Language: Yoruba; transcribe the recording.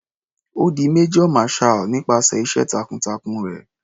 Ó di major marshall nípasẹ̀ iṣẹ́ takun-takun rẹ̀.